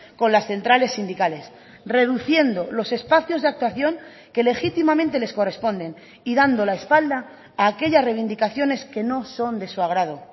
con las centrales sindicales reduciendo los espacios de actuación que legítimamente les corresponden y dando la espalda a aquellas reivindicaciones que no son de su agrado